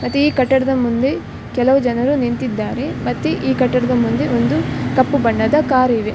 ಮತ್ತೆ ಈ ಕಟ್ಟಡದ ಮುಂದೆ ಕೆಲವು ಜನರು ನಿಂತಿದ್ದಾರೆ ಮತ್ತೆ ಈ ಕಟ್ಟಡದ ಮುಂದೆ ಒಂದು ಕಪ್ಪು ಬಣ್ಣದ ಕಾರಿವೆ .